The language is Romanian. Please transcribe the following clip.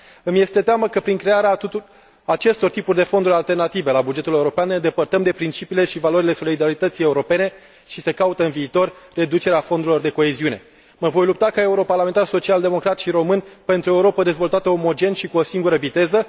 Îmi este teamă că prin crearea acestor fonduri alternative la bugetul european ne îndepărtăm de principiile și valorile solidarității europene și că se caută reducerea fondurilor de coeziune în viitor. Mă voi lupta, ca europarlamentar social democrat și român, pentru o Europă dezvoltată omogen și cu o singură viteză